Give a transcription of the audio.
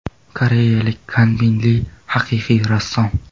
Koreyalik Kanbin Li haqiqiy rassom.